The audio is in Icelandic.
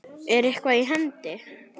Er eitthvað í hendi?